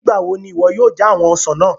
Nigbawo ni iwọ yoo ja awọn ọsan naa?